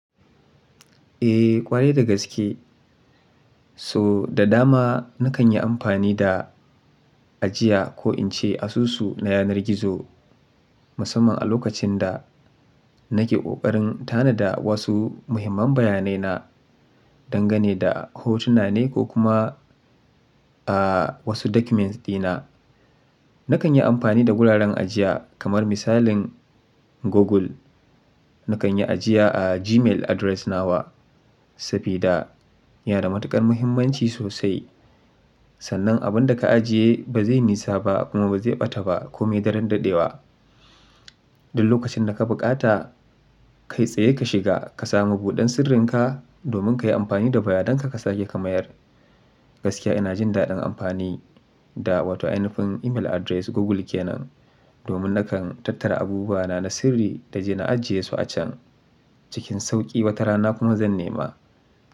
Eh, ƙware da gaske. So da dama nakan yi amfani da ajiya ko in ce asusu na yanar gizo, musamman a lokacin da nake ƙoƙarin tanada wasu muhimman bayanaina, dangane da hotuna ne ko kuma, ah, wasu document dina. Nakan yi amfani da wuraren ajiya kamar misalin Google. Nakan yi ajiya a Gmail address nawa, safida ya da matuƙar muhimmanci sosai. Sannan abin da ka ajiye ba zai nisaba kuma ba zai ɓata ba ko mai daren daɗewa. Duk lokacin da ka buƙata, kai tsaye ka shiga ka samu buɗan sirrinka domin ka yi amfani da bayadanka ka sake ka mayar. Gaskiya ina jin daɗin amfani da wato ainifin email address Google ke nan, domin nakan tattara abubuwana na sirri da zan ajiyesu a can cikin sauƙi wata rana kuma zan nema.